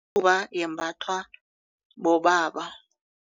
yembathwa bobaba.